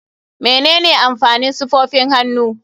Menene amfanin safofin hannu?